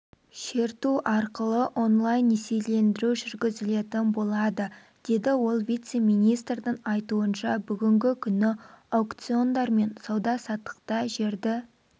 шерту арқылы онлайн-несиелендіру жүргізілетін болады деді ол вице-министрдің айтуынша бүгінгі күні аукциондар мен сауда-саттықта жерді